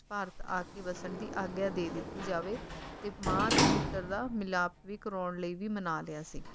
ਭਾਰਤ ਆਕੇ ਵਸਣ ਦੀ ਆਗਿਆ ਦੇ ਦਿੱਤੀ ਜਾਵੇ ਤੇ ਮਾਂ ਤੇ ਪੁੱਤਰ ਦਾ ਮਿਲਾਪ ਵੀ ਕਰਾਉਣ ਲਈ ਵੀ ਮਣਾ ਲਿਆ ਸੀ,